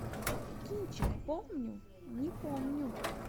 кинчик помню не помню